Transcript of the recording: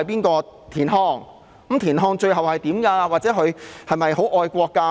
那麼田漢最後有何遭遇或他是否很愛國？